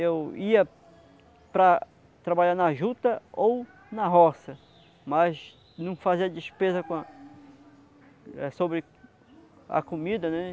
Eu ia para trabalhar na juta ou na roça, mas não fazia despesa com a sobre a comida, né?